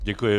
Děkuji.